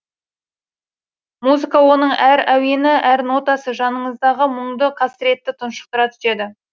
музыка оның әр әуені әр нотасы жаныңыздағы мұңды қасіретті тұншықтыра түседі